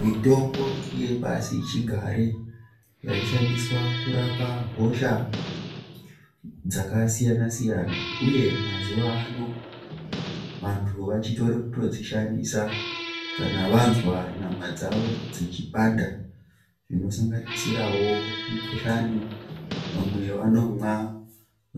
Mitombo yepasichigare yaishandiswa kurapa hosha dzakasiyana -siyana uye mazuwano vantu vachitori kutodzishandisa kana vanzwa nyama dzavo dzichipanda zvinosanganisirawo mikhuhlani, vamwe vanomwa